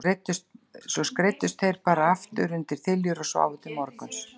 Svo þeir skreiddust bara aftur undir þiljur og sváfu til morguns.